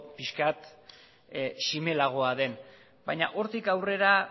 pixkat zimelagoa den baina hortik aurrera